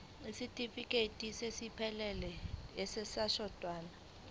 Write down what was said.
isitifikedi esiphelele sezokwelashwa